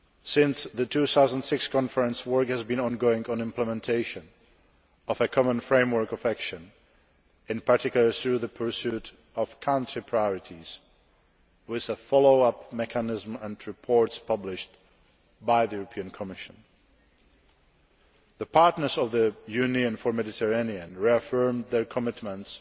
Since the 2006 conference, work has been ongoing on implementation of a Common Framework of Action, in particular, through the pursuit of country priorities, with a follow up mechanism and reports published by the European Commission. The partners in the Union for the Mediterranean reaffirmed their commitments